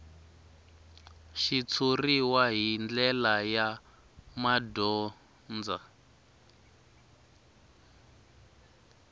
xitshuriwa hi ndlela ya madyondza